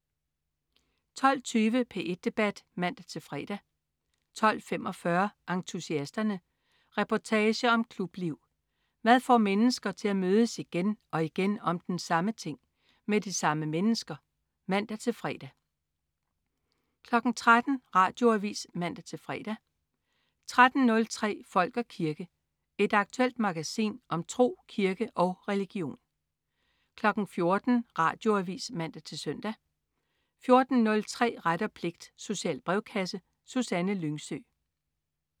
12.20 P1 Debat (man-fre) 12.45 Entusiasterne. Reportage om klubliv. Hvad får mennesker til at mødes igen og igen om den samme ting. Med de samme mennesker? (man-fre) 13.00 Radioavis (man-fre) 13.03 Folk og kirke. Et aktuelt magasin om tro, kirke og religion 14.00 Radioavis (man-søn) 14.03 Ret og pligt. Social brevkasse. Susanne Lyngsø